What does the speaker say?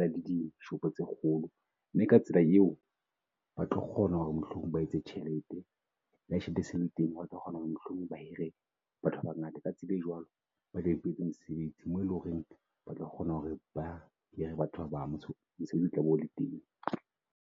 le dishopo tse kgolo mme ka tsela eo ba tlo kgona hore mohlomong ba etse tjhelete.le ha tjhelete e sale teng ba tlo kgona hore mohlomong ba hire batho ba bangata ka tsela e jwalo batla ba mosebetsi mo eleng hore ba tlo kgona hore ba hire batho ba bang mosebetsi o tla be ole teng.